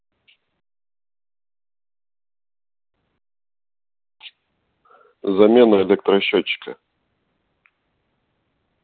замена электросчётчика